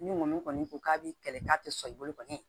Ni kɔni ko k'a b'i kɛlɛ k'a tɛ sɔn i bolo kɔni